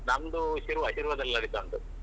ನಮ್ದು ಶಿರ್ವ ಶಿರ್ವದಲ್ಲಿ ನಡೆತ ಉಂಟು.